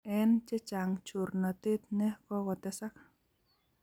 eng chechang chornatet ne kokotesak